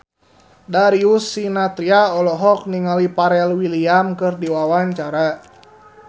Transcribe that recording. Darius Sinathrya olohok ningali Pharrell Williams keur diwawancara